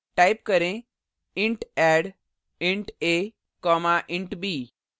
type करें int add int a int b